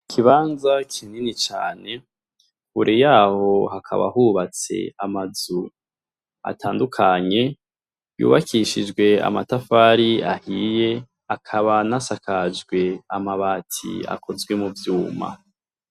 Ikibanza kinini cane, imbere yaho hakaba hubatse amazu atandukanye, yubakishijwe amatafari ahiye, akaba anasakajwe amabati akozwe mu vyuma.